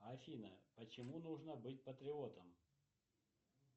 афина почему нужно быть патриотом